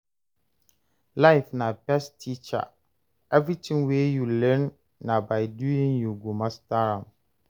Life na best teacher, everything wey you learn, na by doing you go master am.